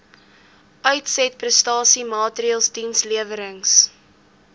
uitsetprestasie maatreëls dienslewerings